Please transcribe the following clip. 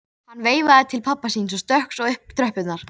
Sævar gerði handrit að stuttmyndinni og vantaði grímu.